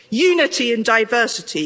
Unity in diversity.